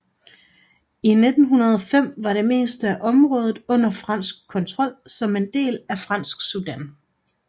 I 1905 var det meste af området under fransk kontrol som en del af Fransk Sudan